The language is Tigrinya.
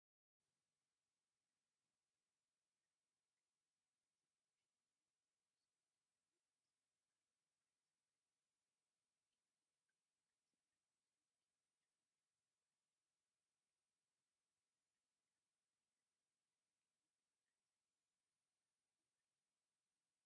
እህህህ! ሓደ ፀሊም ሰብአይ ሰማያዊ ሸሚዝን ፀሊም ሱፍን ተከዲኑ ምሰ ካልኦት አርባዕተ ሰባት ጠጠው ኢሎም ይርከቡ፡፡ እዚ ሰብአይ እዙይ ጌታቸው ረዳ ተባሂሉ ይፍለጥ፡፡ ጌታቸው ረዳ ሃይላንድ አብ ቅድሚኡ ገይሩ አብ ፀሊም ወንበር ኮፍ ኢሉ አሎ፡፡